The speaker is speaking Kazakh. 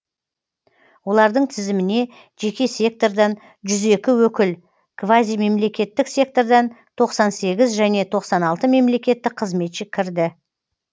олардың тізіміне жеке сектордан жүз екі өкіл квазимемлекеттік сектордан тоқсан сегіз және тоқсан алты мемлекеттік қызметші кірді